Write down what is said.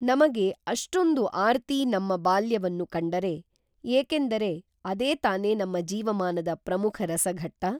ನಮಗೆ ಅಷ್ಟೊಂದು ಆರ್ತಿ ನಮ್ಮ ಬಾಲ್ಯವನ್ನು ಕಂಡರೆ, ಏಕೆಂದರೆ ಅದೇ ತಾನೇ ನಮ್ಮ ಜೀವಮಾನದ ಪ್ರಮುಖ ರಸಘಟ್ಟ.